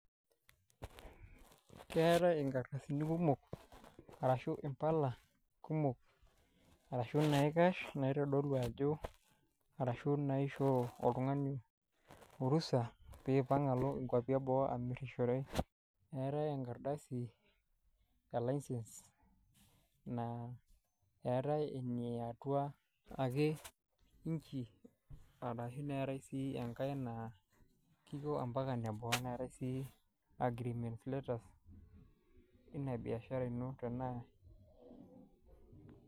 Keetae inkardasini kumok, arashu imbala kumok, arashu naikash naitodolu ajo arashu naa aishoo oltungani orusa pee ipang alo inkuapi eboo amirishore. Etae enkardasi e license, naa eetae eniatua ake inchi, arashu neetae sii enkae naa kiko ambaka ine boo, neetae sii agreement letter, inia biashara ino tenaa